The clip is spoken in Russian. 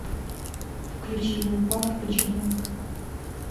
включи лил памп гуччи гэнг